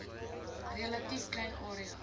relatief klein area